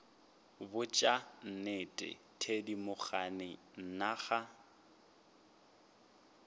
botša nnete thedimogane nna ga